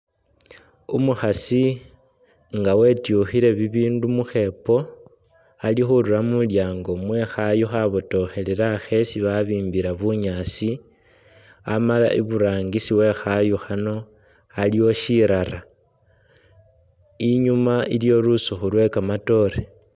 Umukhaasi nga wetyukhile bibindu mukhepo ali khurura mulyango mwekhayu khabotokhelela khesi babimbila bunyaasi amala iburangisi wekhayu khano aliwo shirara inyuma iliyo lusukhu lwekamatoore